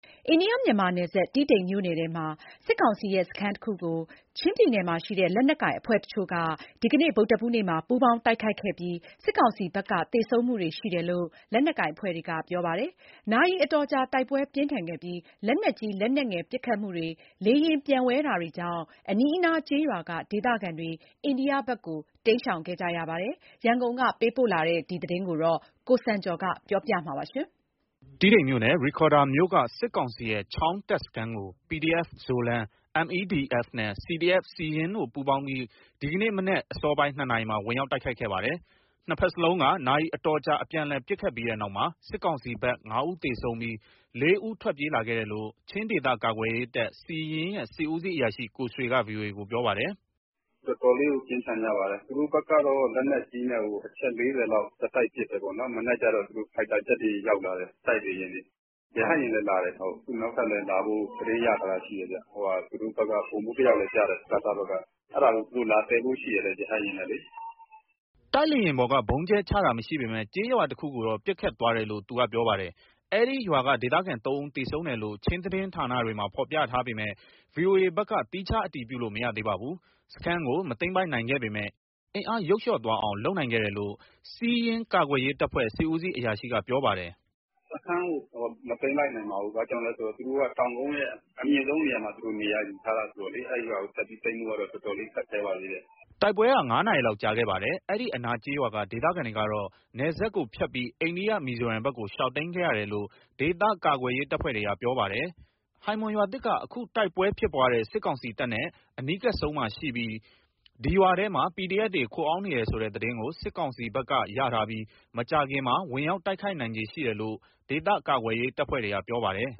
အိန္ဒိယ- မြန်မာနယ်စပ်၊ တီးတိန်မြို့နယ်ထဲက စစ်ကောင်စီရဲ့စခန်းတခုကို ချင်းပြည်နယ်မှာရှိတဲ့ လက်နက်ကိုင်အဖွဲ့တချို့က ဒီနေ့ ဗုဒ္ဓဟူးနေ့မှာ ပူးပေါင်းတိုက်ခိုက်ခဲ့ပြီး စစ်ကောင်စီဘက်က သေဆုံးမှုတွေရှိတယ်လို့ လက်နက်ကိုင်အဖွဲ့တွေက ပြောပါတယ်။ နာရီအတော်ကြာ တိုက်ပွဲပြင်းထန်ခဲ့ပြီး လက်နက်ကြီး၊ လက်နက်ငယ်ပစ်ခတ်မှုတွေ၊ လေယာဉ်ပျံဝဲတာတွေကြောင့် အနီးအနားကျေးရွာက ဒေသခံတွေ အိန္ဒိယဘက်ကို တိမ်းရှောင်ခဲ့ရပါတယ်။ ရန်ကုန်ကပေးပို့တဲ့ ဒီသတင်းကို ကိုစံကျော်က တင်ပြပေးထားပါတယ်။ တီးတိန်မြို့နယ်၊ ရိဒ်ခေါရ်ဒါမြို့က စစ်ကောင်စီရဲ့ ချောင်း တပ်စခန်းကို PDF Zoland၊ MEDF နဲ့ CDF Siyin တို့ ပူးပေါင်းပြီး ဒီနေ့မနက်အစောပိုင်း ၂ နာရီမှာ ဝင်ရောက်တိုက်ခိုက်ခဲ့ပါတယ်။ နှစ်ဘက်စလုံးက နာရီအတော်ကြာ အပြန်အလှန်ပစ်ခတ်ပြီးတဲ့နောက်မှာ စစ်ကောင်စီဘက် ငါးဦးသေဆုံးပြီး လေးဦးထွက်ပြေးလာခဲ့တယ်လို့ ချင်းဒေသကာကွယ်ရေးတပ် ရဲ့ စစ်ဦးစီးအရာရှိ ကိုဆွေက ဗွီအိုအေကို ပြောပါတယ်။ " တော်တော်လေးကို ပြင်းထန်ကြပါတယ်။ သူတို့ဘက်ကတော့ လက်နက်ကြီးနဲ့ကို အချက် ၄၀ လောက် ဆက်တိုက် ပစ်တယ်ပေါ့နော်၊ မနက်ကျတော့ သူတို့ ဖိုက်တာဂျက်တွေ ရောက်လာတယ်၊ တိုက်လေယာဉ်တွေ။ ရဟတ်ယာဉ်လည်းလာတယ်။ အခုနောက်ထပ်လည်းလာဖို့ သတင်းရထားတာရှိတယ်။ သူတို့ဘက်က ဗိုလ်မှူးတယောက်လည်းကျတယ်၊ စကစဘက်က။ အဲဒါကို သူတို့ လာသယ်ဖို့ရှိတယ် ရဟတ်ယာဉ်နဲ့လေ။" တိုက်လေယာဉ်ပေါ်ကနေ ဗုံးကြဲချတာမရှိပေမယ့် ကျေးရွာတခုကိုတော့ ပစ်ခတ်သွားတယ်လို့ သူကပြောပါတယ်။ အဲဒီရွာကဒေသခံ ၃ ဦးသေဆုံးတယ်လို့ ချင်းသတင်းဌာနတွေမှာ ဖော်ပြထားပေမယ့် ဗွီအိုအေဘက်တော့ သီးခြားအတည်ပြုလို့ မရသေးပါဘူး။ စခန်းကို မသိမ်းပိုက်နိုင်ခဲ့ပေမယ့် အင်အားယုတ်လျော့သွားအောင် လုပ်နိုင်ခဲ့တယ်လို့ စီးယင်းကာကွယ်ရေးတပ်ဖွဲ့ စစ်ဦးစီးအရာရှိက ပြောပါတယ်။ " စခန်းကို မသိမ်းလိုက်နိုင်ပါဘူး။ ဘာကြောင့်လဲဆိုတော့ သူတို့က တောင်ကုန်းရဲ့ အမြင့်ဆုံးနေရာမှာ နေရာယူထားတာ ဆိုတော့လေ။ အဲရွာကိုတက်ပြီးသိမ်းဖို့က တော်တော်လေး ခက်ခဲပါသေးတယ်။" တိုက်ပွဲက ငါးနာရီလောက်ကြာခဲ့ပါတယ်။ အနီးအနားကျေးရွာက ဒေသခံတွေကတော့ နယ်စပ်ကိုဖြတ်ပြီး အိန္ဒိယမီဇိုရမ်ဘက်ကို ရှောင်တိမ်းခဲ့ရတယ်လို့ ဒေသကာကွယ်ရေးတပ်ဖွဲ့တွေက ပြောပါတယ်။ ဟိုင်မွန်ရွာသစ်က အခုတိုက်ပွဲဖြစ်ပွားတဲ့ စစ်ကောင်စီတပ်နဲ့ အနီးကပ်ဆုံးမှာရှိပြီး ဒီရွာထဲမှာ PDF တွေခိုအောင်းနေတယ်ဆိုတဲ့ သတင်းကို စစ်ကောင်စီဘက်ကရထားပြီး မကြာခင်မှာ ဝင်ရောက်တိုက်ခိုက်နိုင်ခြေ ရှိတယ်လို့ ဒေသကာကွယ်ရေးအဖွဲ့တွေက ပြောပါတယ်